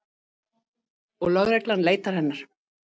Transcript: Og lögreglan leitar hennar.